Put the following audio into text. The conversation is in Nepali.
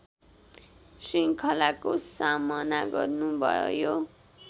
श्रृङ्खलाको सामना गर्नु भयो